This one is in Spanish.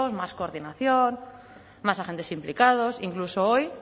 más coordinación más agentes implicados incluso hoy